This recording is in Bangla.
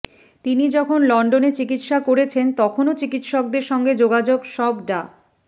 তিনি যখন লন্ডনে চিকিৎসা করেছেন তখনও চিকিৎসকদের সঙ্গে যোগাযোগ সব ডা